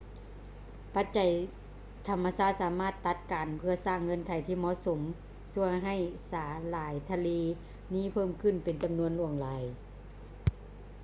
ປັດໄຈທຳມະຊາດສາມາດຕັດກັນເພື່ອສ້າງເງື່ອນໄຂທີ່ເໝາະສົມຊ່ວຍໃຫ້ສາຫຼ່າຍທະເລນີ້ເພີ່ມຂຶ້ນເປັນຈຳນວນຫຼວງຫຼາຍ